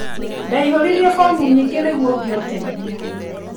Ndecorĩrie fomu nyingĩ nĩgũo ngĩe ũteithio